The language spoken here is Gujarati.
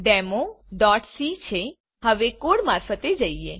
ચાલો હવે કોડ મારફતે જઈએ